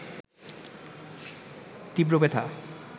তীব্র ব্যথা